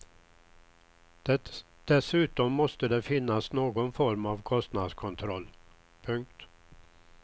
Dessutom måste det finnas någon form av kostnadskontroll. punkt